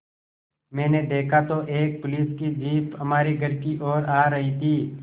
मैंने देखा तो एक पुलिस की जीप हमारे घर की ओर आ रही थी